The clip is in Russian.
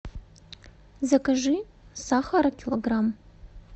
закажи сахара килограмм